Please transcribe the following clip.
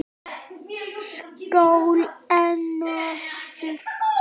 Skál enn og aftur!